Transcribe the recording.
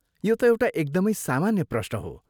यो त एउटा एकदमै सामान्य प्रश्न हो।